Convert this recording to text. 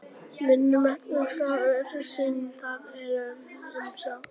Veigamesta ástæðan er sú að það er gríðarlega heitt á sólinni.